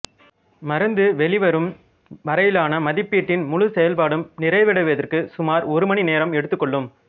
மருந்து வெளிவரும் வரையிலான மதிப்பீட்டின் முழுச் செயல்பாடும் நிறைவடைவதற்கு சுமார் ஒரு மணி நேரம் எடுத்துக்கொள்ளும்